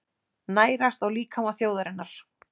Nærast á líkama þjóðarinnar.